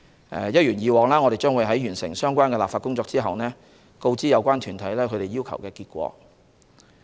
一如以往，我們在完成相關立法工作後會把結果告知有關團體。